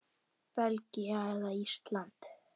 Belgía eða Ísland?